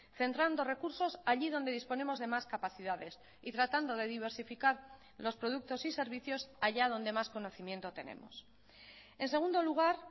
centrando recursos allí donde disponemos de más capacidades y tratando de diversificar los productos y servicios allá donde más conocimiento tenemos en segundo lugar